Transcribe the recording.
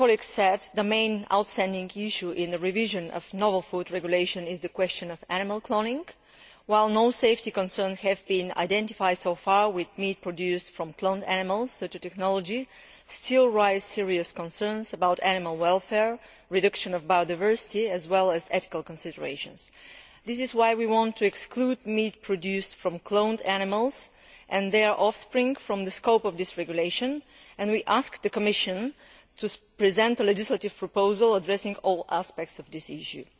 As my colleague said, the main outstanding issue in the revision of the novel foods regulation is the question of animal cloning. While no safety concerns have been identified so far with meat produced from cloned animals, such a technology still raises serious concerns about animal welfare, the reduction of biodiversity, and ethical considerations. This is why we want to exclude meat produced from cloned animals and their offspring from the scope of this regulation, and we ask the Commission to present a legislative proposal addressing all aspects of this issue.